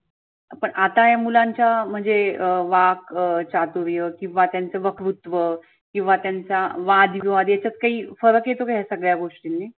पण आता या मुलांच्या म्हणजे अं वाक चातुर्य किंवा त्यांच वकृत्व किंवा त्यांचा वाद विवाद याच्यात काही फरक येतो का या सगळ्या गोष्टींनी?